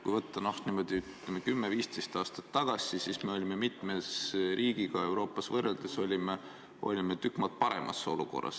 Kui võtta aeg 10–15 aastat tagasi, siis me olime võrreldes mitme Euroopa riigiga tükk maad paremas olukorras.